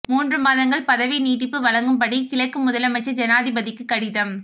மூன்று மாதங்கள் பதவி நீட்டிப்பு வழங்கும்படி கிழக்கு முதலமைச்சர் ஜனாதிபதிக்கு கடிதம்